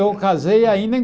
Eu casei ainda em